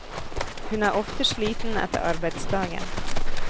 Hun er ofte sliten etter arbeidsdagen.